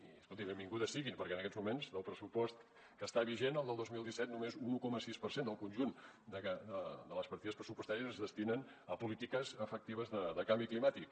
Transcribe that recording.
i escoltin benvinguda sigui perquè en aquests moments en el pressupost que està vigent el del dos mil disset només un un coma sis per cent del conjunt de les partides pressupostàries es destinen a polítiques efectives de canvi climàtic